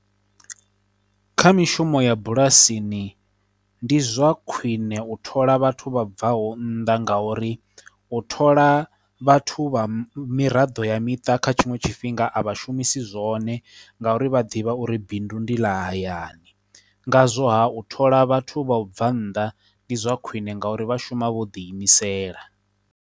Kha mishumo ya bulasini, ndi zwa khwiṋe u thola vhathu vha bva ho nnḓa nga uri u thola vhathu vha miraḓo ya miṱa kha tshiṅwe tshifhinga a vha shumisi zwone nga uri vha ḓivha uri bindu ndi ḽa hayani, ngazwo ha u thola vhathu vha u bva nnḓa ndi zwa khwiṋe nga uri vha shuma vho ḓi imisela.